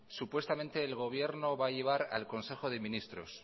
supuestamente el gobierno va a llevar al consejo de ministros